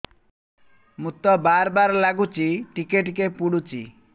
ମୁତ ବାର୍ ବାର୍ ଲାଗୁଚି ଟିକେ ଟିକେ ପୁଡୁଚି